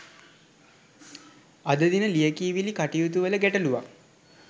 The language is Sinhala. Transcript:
අද දින ලියකියවිලි කටයුතුවල ගැටලුවක්